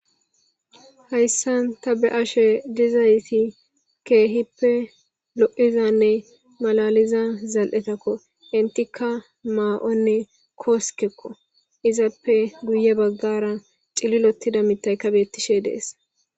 Hayssan ta be ashe dizayti keehippe lo7izanne malaliza zal7etakko intika maa7onne kooskeqo izappe guye baggara cililotida mitayka beettishe dees